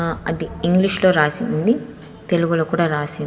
ఆ అది ఇంగ్లీషులో రాసి ఉంది తెలుగులో కూడా రాసి--